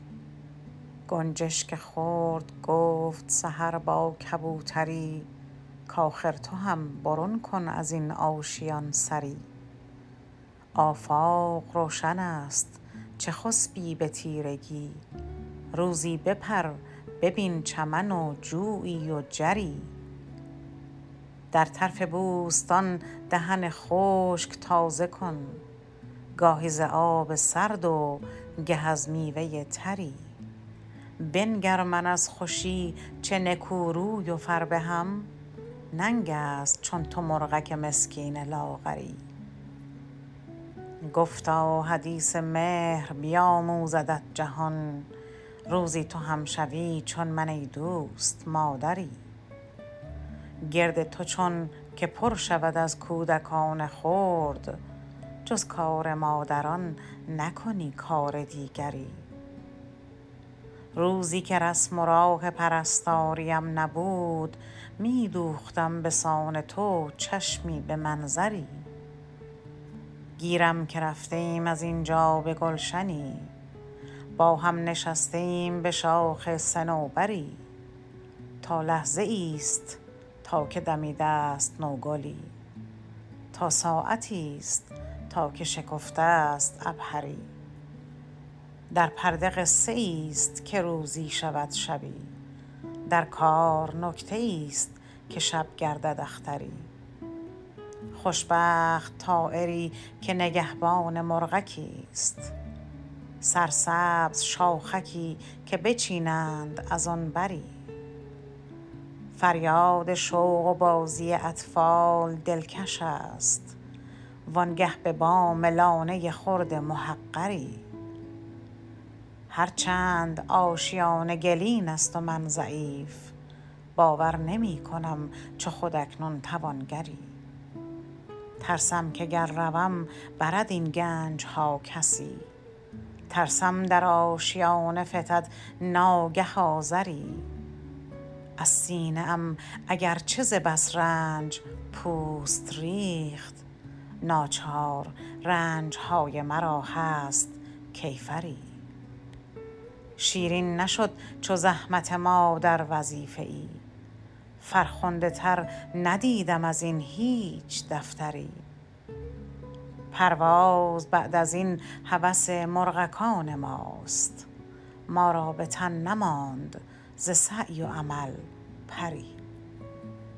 گنجشک خرد گفت سحر با کبوتری کآخر تو هم برون کن ازین آشیان سری آفاق روشن است چه خسبی به تیرگی روزی بپر ببین چمن و جویی و جری در طرف بوستان دهن خشک تازه کن گاهی ز آب سرد و گه از میوه تری بنگر من از خوشی چه نکو روی و فربهم ننگست چون تو مرغک مسکین لاغری گفتا حدیث مهر بیاموزدت جهان روزی تو هم شوی چو من ایدوست مادری گرد تو چون که پر شود از کودکان خرد جز کار مادران نکنی کار دیگری روزیکه رسم و راه پرستاریم نبود میدوختم بسان تو چشمی به منظری گیرم که رفته ایم از اینجا به گلشنی با هم نشسته ایم بشاخ صنوبری تا لحظه ایست تا که دمیدست نوگلی تا ساعتی است تا که شکفته است عبهری در پرده قصه ایست که روزی شود شبی در کار نکته ایست که شب گردد اختری خوشبخت طایری که نگهبان مرغکی است سرسبز شاخکی که بچینند از آن بری فریاد شوق و بازی اطفال دلکش است وانگه به بام لانه خرد محقری هر چند آشیانه گلین است و من ضعیف باور نمیکنم چو خود اکنون توانگری ترسم که گر روم برد این گنجها کسی ترسم در آشیانه فتد ناگه آذری از سینه ام اگرچه ز بس رنج پوست ریخت ناچار رنجهای مرا هست کیفری شیرین نشد چو زحمت مادر وظیفه ای فرخنده تر ندیدم ازین هیچ دفتری پرواز بعد ازین هوس مرغکان ماست ما را بتن نماند ز سعی و عمل پری